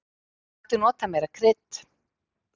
Mætti nota meira krydd.